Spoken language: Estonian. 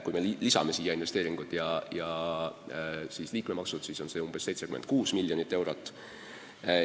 Kui me lisame siia investeeringud ja liikmemaksud, siis on see umbes 76 miljonit eurot.